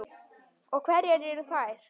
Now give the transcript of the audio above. Og hverjar eru þær?